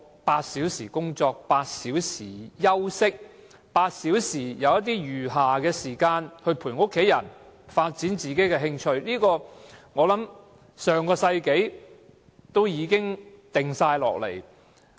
八小時工作 ，8 小時休息 ，8 小時餘暇來陪伴家人和發展自己的興趣，這個主張我想在上世紀已提出。